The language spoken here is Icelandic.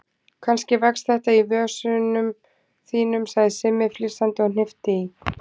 Kannski vex þetta í vösunum þínum sagði Simmi flissandi og hnippti í